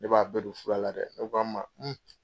Ne b'a bɛɛ don fura la dɛ ne k'a ma